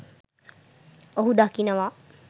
ඔහු දකිනවා